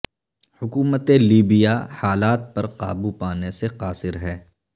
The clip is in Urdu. حکومت لیبیا حالات پر قابو پانے سے قاصر ہے